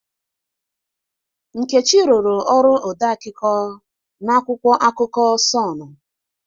Nkechi rụrụ ọrụ ode akụkọ na akwụkwọ akụkọ Sọnụ.